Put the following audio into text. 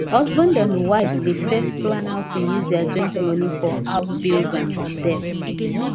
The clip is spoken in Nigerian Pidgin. husband and wife dey first plan how to use their joint money for house bills and debt